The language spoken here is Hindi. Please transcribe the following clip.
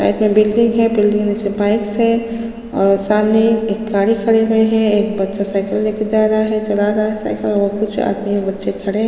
साइड में बिल्डिंग है बिल्डिंग के नीचे बाइक्स है और सामने एक गाडी खड़े हुए है एक बच्चा साइकिल लेके जा रहा है चला रहा है साइकिल और कुछ आदमी और बच्चे खड़े --